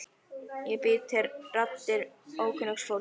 Ég bý til raddir ókunnugs fólks.